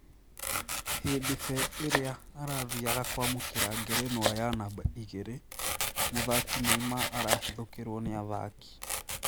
Hĩndĩ be ĩrĩa arathiaga kwamũkĩra ngerenwa ya namba igĩrĩ, mũthaki Neymar arahithũkĩrwo nĩ athaki